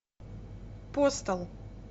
постал